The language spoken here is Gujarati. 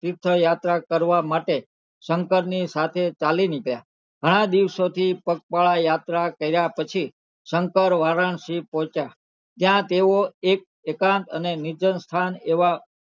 તીર્થ યાત્રા કરવા માટે શંકર ની સાથે ચાલી નીકળ્યા ઘણા દિવસો થી પગપાળા યાત્રા કર્યા પછી શંકર વારાણસી પોંહચીયા ત્યાં તેઓ એકાંત અને નિર્જન સ્થાન